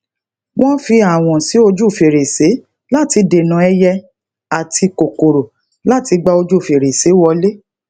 wón fi awon si oju ferese lati dena ẹyẹ àti kòkòrò lati gba oju ferese wole